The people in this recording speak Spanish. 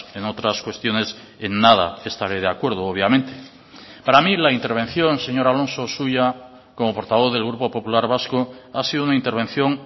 en otras cuestiones en nada estaré de acuerdo obviamente para mí la intervención señor alonso suya como portavoz del grupo popular vasco ha sido una intervención